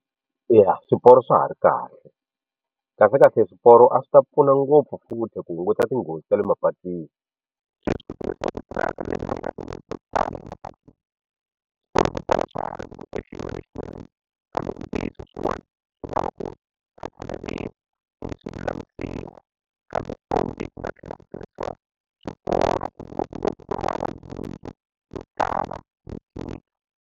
Eya swiporo swa ha ri kahle khahlekahle swiporo a swi ta pfuna ngopfu futhi ku hunguta tinghozi ta le mapatwini .